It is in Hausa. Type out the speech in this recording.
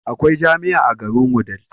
Akwai jamia a garin wudil